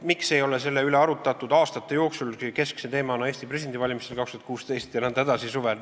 Miks selle üle ei arutatud aastate jooksul, keskse teemana Eesti presidendivalimisel 2016, suvel jne?